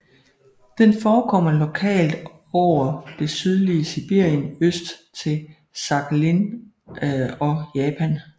Den forekommer lokalt over det sydlige Sibirien øst til Sakhalin og Japan